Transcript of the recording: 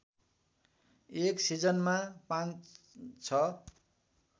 एक सिजनमा ५ ६